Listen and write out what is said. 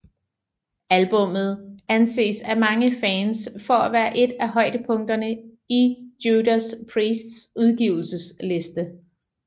Albummet anses af mange fans for at være en af højdepunkterne i Judas Priests udgivelsesliste